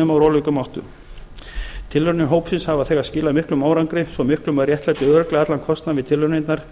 úr ólíkum áttum tilraunir hópsins hafa þegar skilað miklum árangri svo miklum að réttlæti örugglega allan kostnað við tilraunirnar